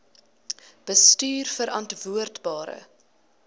bestuurverantwoordbare